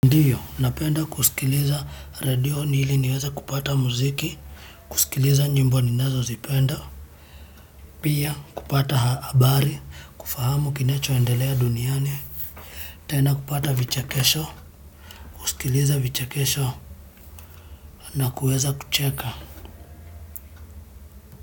Ndiyo, napenda kusikiliza radio nili niweze kupata mziki, kusikiliza nyimbo ninazozipenda, pia kupata habari, kufahamu kinachoendelea duniani, tena kupata vichekesho, kusikiliza vichekesho, na kuweza kucheka.